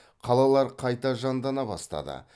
қалалар қайта жандана бастады